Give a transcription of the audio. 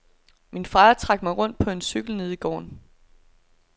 Min far trak mig rundt på cykel nede i gården.